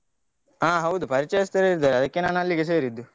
ಹಾ ಹೌದು ಪರಿಚಯಸ್ತರು ಇದ್ದಾರೆ, ಅದಕ್ಕೆ ನಾನು ಅಲ್ಲಿಗೆ ಸೇರಿದ್ದು.